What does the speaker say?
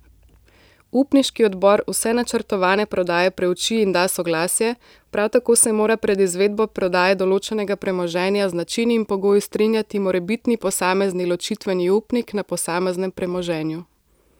Upniški odbor vse načrtovane prodaje preuči in da soglasje, prav tako se mora pred izvedbo prodaje določenega premoženja z načini in pogoji strinjati morebitni posamezni ločitveni upnik na posameznem premoženju.